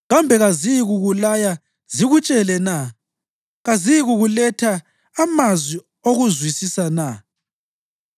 Kambe kaziyikukulaya zikutshele na? Kaziyikuletha amazwi okuzwisisa na?